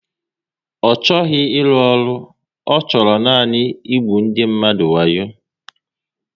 Ọ chọghị ịrụ ọrụ, ọ chọrọ nanị ịgbu ndị mmadụ wayo